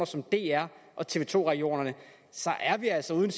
som dr og tv to regionerne er vi altså ude i